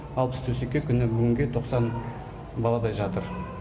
алпыс төсекке күні бүгінге тоқсан баладай жатыр